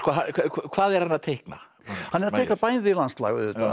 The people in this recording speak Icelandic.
hvað er hann að teikna hann er að teikna bæði landslag auðvitað